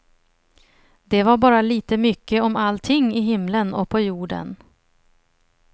Det var bara lite mycket om allting i himlen och på jorden.